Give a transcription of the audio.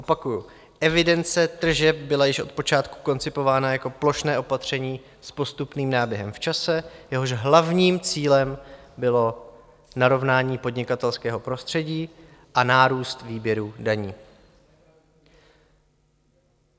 Opakuji, evidence tržeb byla již od počátku koncipována jako plošné opatření s postupným náběhem v čase, jehož hlavním cílem bylo narovnání podnikatelského prostředí a nárůst výběru daní.